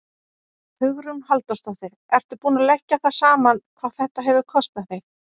Hugrún Halldórsdóttir: Ertu búinn að leggja það saman hvað þetta hefur kostað þig?